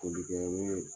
Folikɛyɔrɔ